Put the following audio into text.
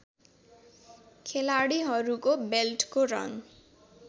खेलाडीहरुको बेल्टको रङ